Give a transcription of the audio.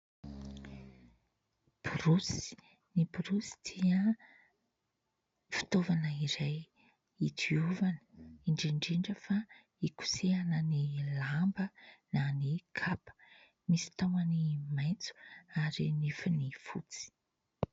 Borosy ny borosy dia fitaovana iray hidiovana, indrindra indrindra fa hikosehana ny lamba na ny kapa, misy tahony maitso ary nifiny fotsy.